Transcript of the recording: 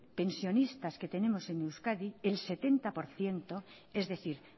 pensionistas que tenemos en euskadi el setenta por ciento es decir